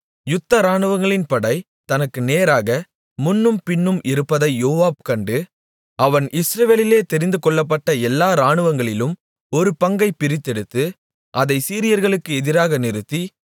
யுத்த இராணுவங்களின் படை தனக்கு நேராக முன்னும் பின்னும் இருப்பதை யோவாப் கண்டு அவன் இஸ்ரவேலிலே தெரிந்துகொள்ளப்பட்ட எல்லா இராணுவங்களிலும் ஒரு பங்கைப் பிரித்தெடுத்து அதை சீரியர்களுக்கு எதிராக நிறுத்தி